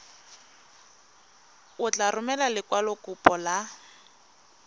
o tla romela lekwalokopo la